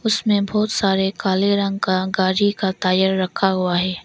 उसमें बहुत सारे काले रंग का गाड़ी का टायर रखा हुआ है।